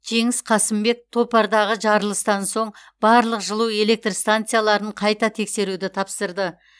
жеңіс қасымбек топардағы жарылыстан соң барлық жылу электр станцияларын қайта тексеруді тапсырды